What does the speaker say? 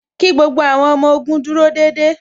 Kí gbogbo àwọn ọmọ ogun dúró déédéé